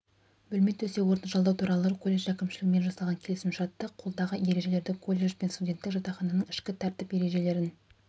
бөлме төсек-орынды жалдау туралы колледж әкімшілігімен жасаған келісімшартты қолдағы ережелерді коллдж бен студенттік жатақхананың ішкі тәртіп ережелерін